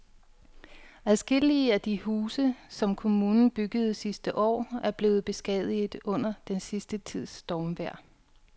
Adskillige af de huse, som kommunen byggede sidste år, er blevet beskadiget under den sidste tids stormvejr.